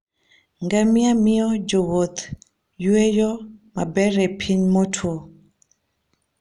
Ngamia miyo jowuoth yueyo maber e piny motwo.